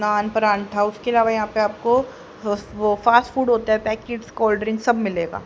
Non paratha उसके अलावा यहां पे आपको अह वो फास्ट फूड होता है पैकेट्स कोल्ड ड्रिंक्स सब मिलेगा।